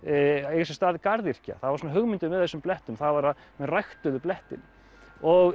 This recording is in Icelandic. eiga sér stað garðyrkja það var svona hugmyndin með þessum blettum það var að menn ræktuðu blettinn og